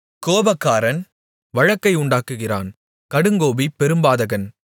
கோபக்காரன் வழக்கை உண்டாக்குகிறான் கடுங்கோபி பெரும்பாதகன்